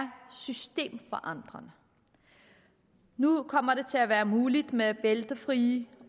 systemforandrende nu kommer det til at være muligt med bæltefrie